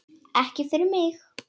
Ekki fyrir mig!